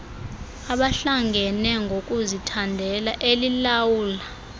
abahlangene ngokuzithandela elilawulwa